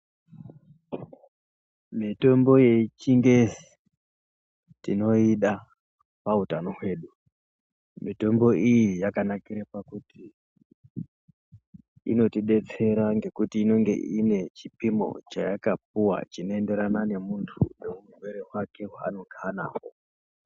Mitombo yechingezi tinoyida pautano hwedu mitombo iyi yakanakira pakuti inotidetsera ngekuti inonge inechipimo chaya kapuwa chinoendererana nemuntu neutered hwake hwaanenge ana hwo.